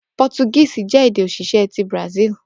Portuguese jẹ ede osise ti Brazil